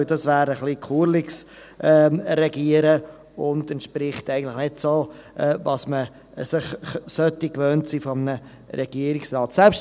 Denn das wäre ein etwas sonderbares Regieren, und es entspricht eigentlich nicht dem, was man sich von einem Regierungsrat gewohnt sein sollte.